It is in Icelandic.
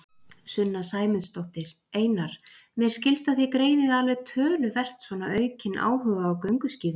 Sunna Sæmundsdóttir: Einar, mér skilst að þið greinið alveg töluvert svona aukin áhuga á gönguskíðum?